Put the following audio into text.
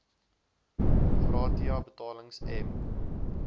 gratia betalings m